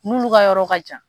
Munnu ka yɔrɔ ka jan.